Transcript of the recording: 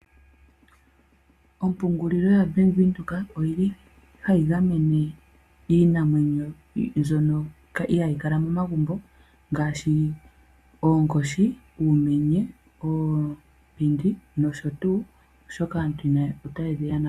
Ombungulilo yaBank Windhoek oyi li hayi gamene iinamwenyo mbyono ihayi kala momagumbo ngaashi oonkoshi ,uumenye, ompinda nosho tuu oshoka aantu ota yedhi yonagula po.